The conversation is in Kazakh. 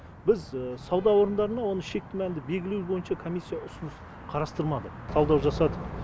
біз сауда орындарына оны шекті мәнді белгілеу бойынша комиссия ұсыныс қарастырмады талдау жасадық